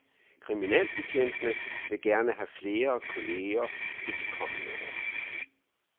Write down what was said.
Kriminalbetjentene vil gerne have flere kolleger i de kommende år.